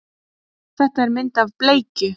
Þetta er mynd af bleikju.